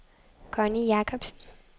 Connie Jacobsen